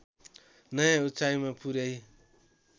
नयाँ उचाइमा पुर्‍याई